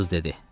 Qız dedi.